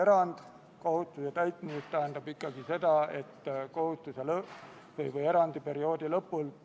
Riigikaitsekomisjon tegi menetluslikud otsused oma k.a 21. oktoobri istungil.